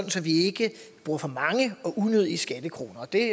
vi ikke bruger for mange og unødige skattekroner det